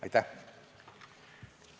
Aitäh!